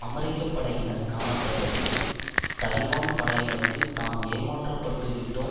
அமெரிக்க படையினர் காணப்பட்டது தலிபான் படையினருக்கு தாம் ஏமாற்றப்பட்டுவிட்டோம்